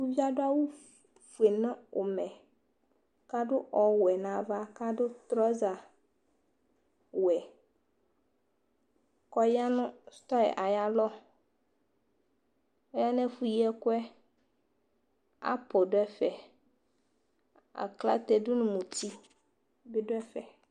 Uvi yɛ adʋ awʋ fue nʋ ʋmɛ, kadu ɔwɛ nava, kadʋ trɔza wɛ kɔya nʋ sʋtɔ yɛ aya lɔ Ɔya nʋ ɛfʋ yi ɛkuɛ Apʋʋl du ɛfɛ Aklate dʋ nʋ muti bi du ɛfɛ